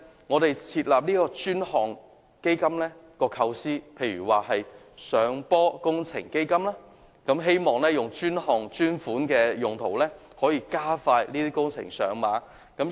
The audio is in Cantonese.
我們設立專項基金，例如上坡工程基金的構思，是希望以專項專款的用途，可以令這些工程盡快上馬。